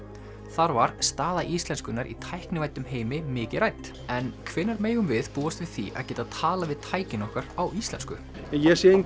þar var staða íslenskunnar í tæknivæddum heimi mikið rædd en hvenær megum við búast við því að geta talað við tækin okkar á íslensku ég sé